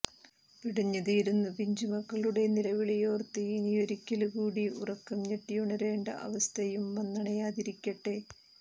പിടഞ്ഞ് തീരുന്ന പിഞ്ചുമക്കളുടെ നിലവിളിയോര്ത്ത് ഇനിയൊരിക്കല് കൂടി ഉറക്കം ഞെട്ടിയുണരേണ്ട അവസ്ഥയും വന്നണയാതിരിക്കട്ടെ